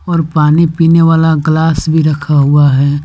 और पानी पीने वाला ग्लास भी रखा हुआ है।